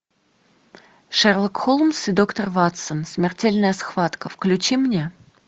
шерлок холмс и доктор ватсон смертельная схватка включи мне